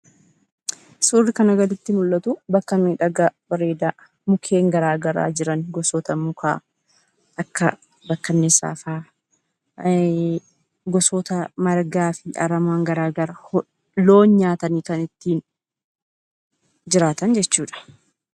Suurri kanaa gaditti mul'atu bakka miidhagaa bareedaa, mukeen garagaraa jiran gosoota muka akka bakkaniisaafaa gosoota garagaraa loon nyaatanii jiraatan jechuudha.